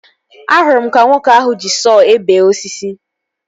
Ahụrụ m ka nwoke ahụ ji sọọ ebe osisi